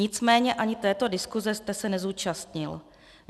Nicméně ani této diskuse jste se nezúčastnil.